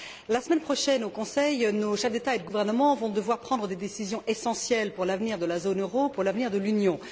La semaine prochaine, au Conseil, nos chefs d'État et de gouvernement vont devoir prendre des décisions essentielles pour l'avenir de la zone euro, pour l'avenir de l'Union.